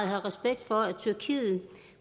have respekt for at tyrkiet